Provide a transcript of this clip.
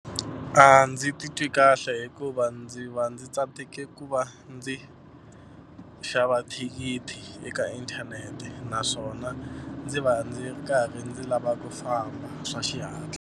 A ndzi titwi kahle hikuva ndzi va ndzi tsandzeke ku va ndzi xava thikithi eka inthanete naswona ndzi va ndzi ri karhi ndzi lava ku famba swa xihatla.